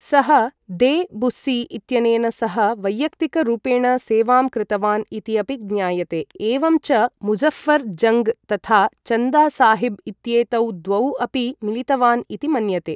सः de Bussy इत्यनेन सह वैयक्तिकरूपेण सेवां कृतवान् इति अपि ज्ञायते, एवं च मुज़ऴ्ऴर् जङ्ग् तथा चन्दा साहिब् इत्येतौ द्वौ अपि मिलितवान् इति मन्यते।